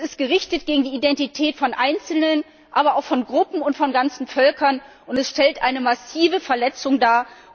Es ist gegen die Identität von Einzelnen, aber auch von Gruppen und von ganzen Völkern gerichtet, und es stellt eine massive Verletzung dar.